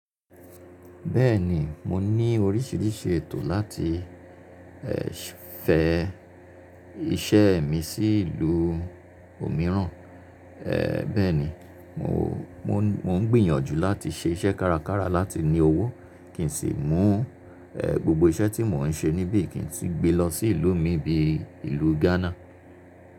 Bẹ́ẹ̀ni, mo ní oríṣiríṣi ètò láti, ẹ́ ṣì, fẹ iṣẹ́ mi sí ìlú òmíràn, ẹ́ bẹ́ẹ̀ni mo, mó n gbìyànjú láti ṣe iṣẹ́ kárakára láti ní owó kí n sì mú, ẹ́ gbogbo iṣẹ́ tí mò ń ṣe níbí kí n sì gbe lọ sí ìlú mi bíi ìlú Ghana.